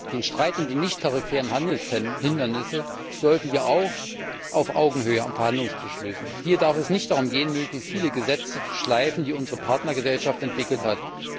Den Streit um die nichttarifären Handelshemmnisse sollten wir auch auf Augenhöhe am Verhandlungstisch lösen. Hier darf es nicht darum gehen, möglichst viele Gesetze zu schleifen, die unsere Partnergesellschaft entwickelt hat.